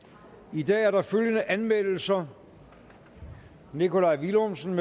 i dag er der følgende anmeldelser nikolaj villumsen